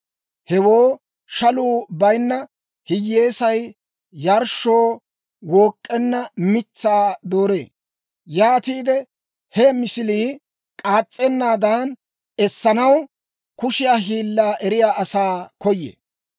Hewoo shaluu bayinna hiyyeesay yarshshoo wook'k'enna mitsaa dooree; yaatiide, he misilii k'aas's'ennaadan essanaw kushiyaa hiillaa eriyaa asaa koyee.